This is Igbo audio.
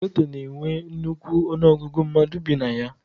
Geto na-enwe nnukwu ọnụọgụgụ mmadụ bi na ya.